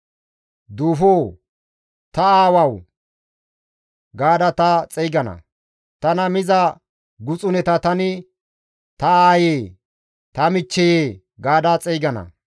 Duufo, ‹Ta aawawu!› gaada ta xeygana; tana miza guxuneta tani, ‹Ta aayee, ta michcheyee!› gaada xeygana.